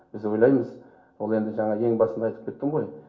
біз ойлаймыз ол енді жаңағы ең басында айтып кеттім ғой